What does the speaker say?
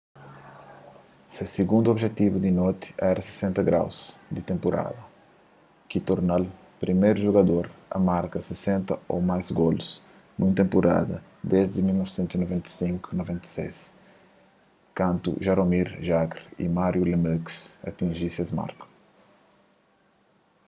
se sigundu obijetivu di noti éra se 60º di tenpurada ki torna-l priméru jugador a marka 60 ô más golus nun tenpurada desdi 1995--96 kantu jaromir jagr y mario lemieux atinji es marku